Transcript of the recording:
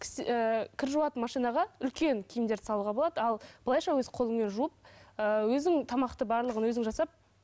кір жуатын машинаға үлкен киімдерді салуға болады ал былайша өз қолыңмен жуып ыыы өзің тамақты барлығын өзің жасап